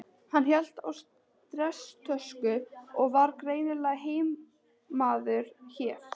Hann hélt á stresstösku og var greinilega heimamaður hér.